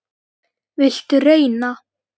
Viltu reyna?